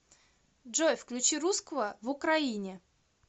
джой включи русского в украине